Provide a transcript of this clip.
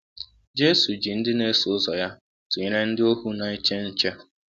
Jesu ji ndị na-eso ụzọ ya tụnyere ndị ohu na-eche nche.